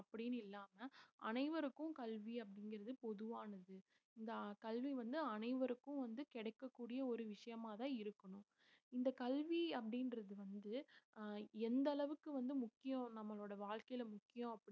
அப்படின்னு இல்லாம அனைவருக்கும் கல்வி அப்படிங்கிறது பொதுவானது. இந்த அஹ் கல்வி வந்து அனைவருக்கும் வந்து கிடைக்கக்கூடிய ஒரு விஷயமாதான் இருக்கணும். இந்த கல்வி அப்படின்றது வந்து ஆஹ் எந்த அளவுக்கு வந்து முக்கியம் நம்மளோட வாழ்க்கையில முக்கியம்